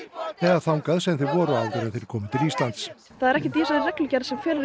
eða þangað sem þeir voru áður en þeir komu til Íslands það er ekkert í þessari reglugerð sem kveður